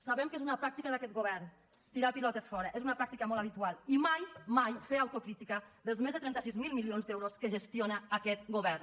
sabem que és una pràctica d’aquest govern tirar pilotes fora és una pràctica molt habitual i mai mai fer autocrítica dels més de trenta sis mil milions d’euros que gestiona aquest govern